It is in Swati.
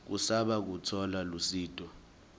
kusaba kutfola lusito